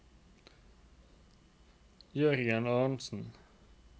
Jørgen Aronsen